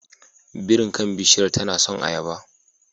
Birin kan bishiyar tana son ayaba.